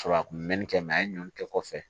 Sɔrɔ a kun mɛnni kɛ a ye ɲɔn kɛ kɔfɛ